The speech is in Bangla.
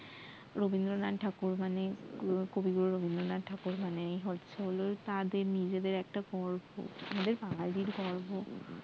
রবিন্দ্রনাথ ঠাকুর মানে কবিগুরু রবিন্দ্রনাথ ঠাকুর মানেই হচ্ছে হল তাদের নিজেদের একটা গর্ব বাঙ্গালির গর্ব